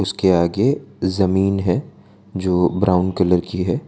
उसके आगे जमीन है जो ब्राउन कलर की है।